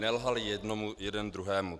Nelhali jednomu, jeden druhému.